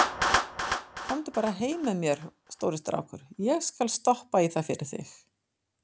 Komdu bara heim með mér, stóri strákur, ég skal stoppa í það fyrir þig.